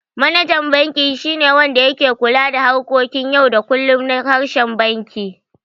Manajan banki shi ne wanda yake kula da harkokin yau da kullum na reshen banki.